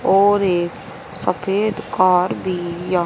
और एक सफेद कार भी य --